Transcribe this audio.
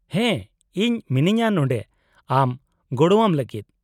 -ᱦᱮᱸ, ᱤᱧ ᱢᱤᱱᱟᱹᱧᱟᱹ ᱱᱚᱸᱰᱮ ᱟᱢ ᱜᱚᱲᱚᱣᱟᱢ ᱞᱟᱹᱜᱤᱫ ᱾